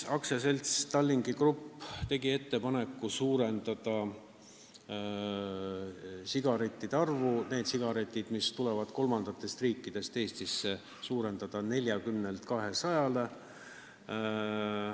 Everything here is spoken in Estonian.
AS Tallink Grupp tegi ettepaneku suurendada nende sigarettide piirkogust, mis tuuakse laevareisil aktsiisivabalt kolmandatest riikidest Eestisse, 40-lt 200-le.